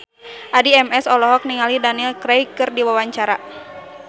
Addie MS olohok ningali Daniel Craig keur diwawancara